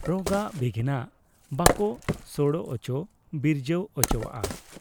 ᱨᱚᱜᱟᱜ ᱵᱤᱜᱷᱤᱱᱟᱜ ᱵᱟᱠᱚ ᱥᱚᱲᱚ ᱚᱪᱚ ᱵᱤᱨᱡᱟᱹᱣ ᱚᱪᱚᱣᱟᱜ ᱟ ᱾